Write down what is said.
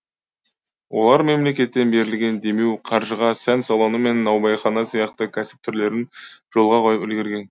олар мемлекеттен берілген демеу қаржыға сән салоны мен наубайхана сияқты кәсіп түрлерін жолға қойып үлгерген